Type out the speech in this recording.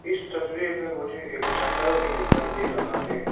इस तस्वीर में मुझे एक झंडा भी दिखाई दे रहा है।